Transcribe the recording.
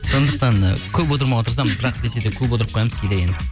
сондықтан ы көп отырмауға тырысамыз бірақ десе де көп отырып қоямыз кейде енді